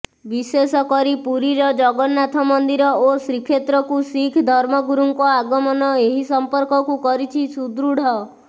ବିଶେଷ କରି ପୁରୀର ଜଗନ୍ନାଥ ମନ୍ଦିର ଓ ଶ୍ରୀକ୍ଷେତ୍ରକୁ ଶିଖ୍ ଧର୍ମଗୁରୁଙ୍କ ଆଗମନ ଏହି ସମ୍ପର୍କକୁ କରିଛି ସୁଦୃଢ